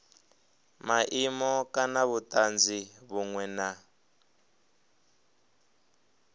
maimo kana vhutanzi vhunwe na